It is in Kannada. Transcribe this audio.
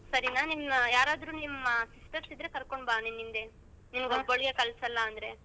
ಸರಿನ ನಿಮ್ ಯಾರಾದ್ರೂ ನಿಮ್ಮ sisters ಇದ್ರೆ ಕರ್ಕೊಂಡ್ ಬಾ ನಿನ್ ಹಿಂದೆ ಒಬ್ಬಾಳ್ನ್ ನೇ ಅಂದ್ರೆ.